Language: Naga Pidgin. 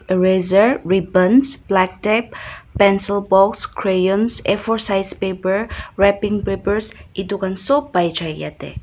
reaser rebons black tap pencil box crean a four side paper raping paper etu sob pai jai jatte.